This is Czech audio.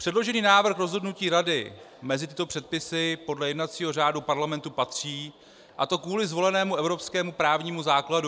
Předložený návrh rozhodnutí Rady mezi tyto předpisy podle jednacího řádu Parlamentu patří, a to kvůli zvolenému evropskému právnímu základu.